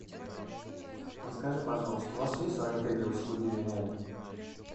расскажи пожалуйста у вас есть в отеле услуги няни